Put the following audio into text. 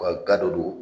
U ka ga dɔ don